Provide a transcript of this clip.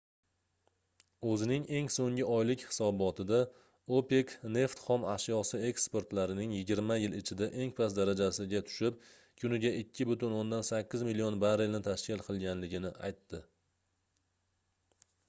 oʻzining eng soʻnggi oylik hisobotida opec neft xom ashyosi eksportlarining yigirma yil ichida eng past darajasiga tushib kuniga 2,8 million barrelni tashkil qilganligini aytdi